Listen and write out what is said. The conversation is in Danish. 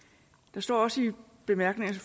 der står også i bemærkningerne